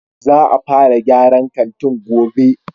Za a fara gyaran kantin gove